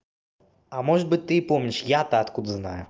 а может быть ты помнишь я-то откуда знаю